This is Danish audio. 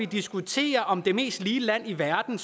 diskutere om det mest lige land i verden